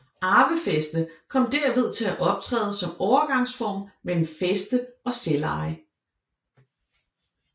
Arvefæste kom derved til at optræde som overgangsform mellem fæste og selveje